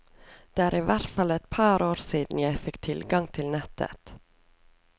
Det er i hvert fall et par år siden jeg fikk tilgang til nettet.